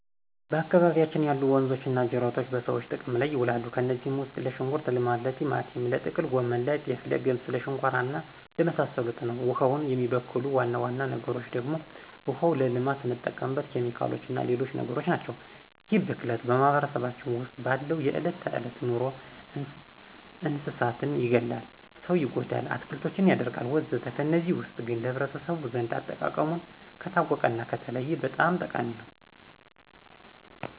በአካባቢያችን ያሉ ወንዞች ወይም ጅረቶች በሰዎች ጥቅም ላይ ይውላሉ። ከነዚህም ውስጥ ለሽንኩርት ልማት፣ ለቲማቲም፣ ለጥቅል ጎመን፣ ለጤፍ፣ ለገብስ ለሸንኮራ እና ለመሳሰሉት ነው። ውሃውን የሚበክሉ ዋና ዋና ነገሮች ደግሞ ዋናው ለልማት ስንጠቀምበት ኬሚካሎችና ሌሎች ነገሮችናቸው። ይህ ብክለት በማህበረሰባችን ውስጥ ባለው የዕለት ተዕለት ኑሮ እንስሳትን ይገላል፣ ሰው ይጎዳል፣ አትክልቶችን ያደርቃልወዘተ ከነዚህ ውስጥ ግን ለህብረተሰቡ ዘንድ አጠቃቀሙን ከታወቀና ከተለየ በጣም ጠቃሚ ነው።